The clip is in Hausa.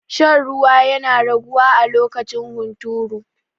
Shan ruwa yana raguwa a lokacin hunturu.